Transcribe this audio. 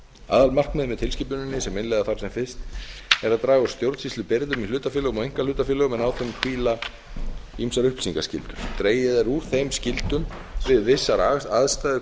aðalmarkmiðið með tilskipuninni sem innleiða þarf sem fyrst er að draga úr stjórnsýslubyrðum í hlutafélögum og einkahlutafélögum en á þeim hvíla ýmsar upplýsingaskyldur dregið er úr þeim skyldum við vissar aðstæður